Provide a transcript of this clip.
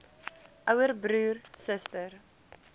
ouer broer suster